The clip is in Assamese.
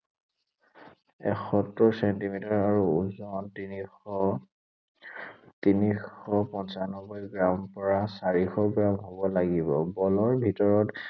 এসত্তৰ ছেণ্টিমিটাৰ আৰু ওজন তিনিশ, তিনিশ পঞ্চানব্বৈ গ্ৰামৰ পৰা চাৰিশ গ্ৰাম হʼব লাগিব। বলৰ ভিতৰত